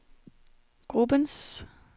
gruppens